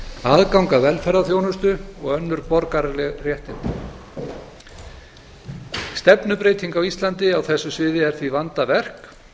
aðgang að velferðarþjónustu og önnur borgaraleg réttindi stefnubreyting á íslandi á þessu sviði er því vandaverk